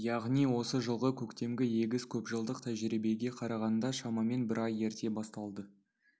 яғни осы жылғы көктемгі егіс көпжылдық тәжірибеге қарағанда шамамен бір ай ерте басталды